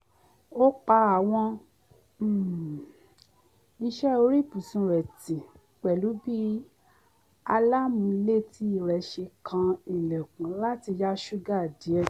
ó pa àwọn um iṣẹ́ orí ibùsùn rẹ̀ ti pẹ̀lú bí alámùúlétì rẹ̀ ṣe kan ilẹ̀kùn láti yá ṣúgà díẹ̀